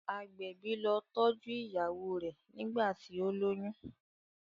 agbẹbi ló tọjú ìyàwó rẹ nigbati o loyún.